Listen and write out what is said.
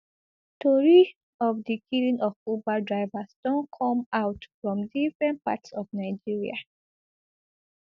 tori of di killing of uber drivers don come out from different parts of nigeria